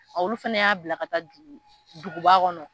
Olu fana y'a bila ka taa dugu duguba kɔnɔ.